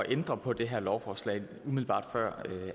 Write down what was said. ændre på det her lovforslag umiddelbart før